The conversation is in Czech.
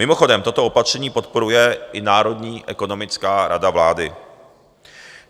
Mimochodem, toto opatření podporuje i Národní ekonomická rada vlády.